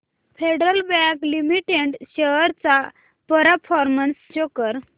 federal Bank Limited shares चा performance show कर